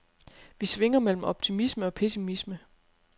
Vi svinger mellem optimisme og pessimisme.